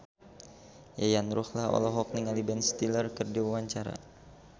Yayan Ruhlan olohok ningali Ben Stiller keur diwawancara